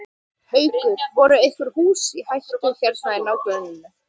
Haukur: Voru einhver hús í hættu hérna í nágrenninu?